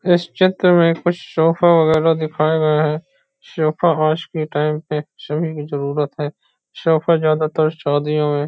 इस चित्र में कुछ शोफा वगेरा दिखाया गया हैं शोफा आज के टाइम में सभी की जरुरत हैं शोफा ज़्यादातर शादियों में --